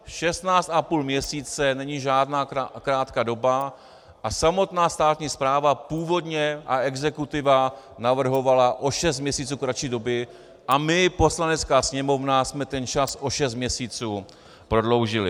Šestnáct a půl měsíce není žádná krátká doba a samotná státní správa původně a exekutiva navrhovala o šest měsíců kratší doby a my, Poslanecká sněmovna, jsme ten čas o šest měsíců prodloužili.